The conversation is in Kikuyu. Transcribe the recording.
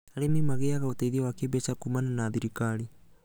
Arĩmi magĩaga ũteithio wa kĩmbeca kumana na thirikari